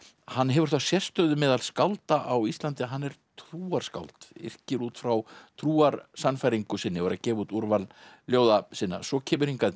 hann hefur þá sérstöðu meðal skálda á Íslandi að hann er trúarskáld yrkir út frá trúarsannfæringu sinni og er að gefa út úrval ljóða sinna svo kemur hingað